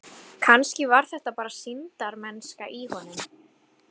Kannski var þetta bara sýndarmennska í honum.